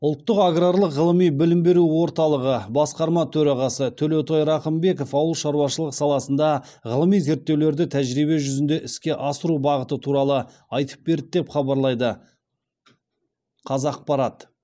ұлттық аграрлық ғылыми білім беру орталығы басқарма төрағасы төлеутай рақымбеков ауыл шаруашылығы саласында ғылыми зерттеулерді тәжірибе жүзінде іске асыру бағыты туралы айтып берді деп хабарлайды қазақпарат